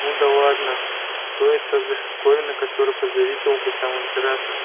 ну да ладно что это за штуковина которой позавидовал бы сам император